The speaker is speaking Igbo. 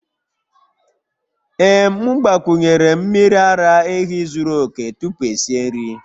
Ee m gbakwunyere'm miri ara ehi zuru oke tupu esi nri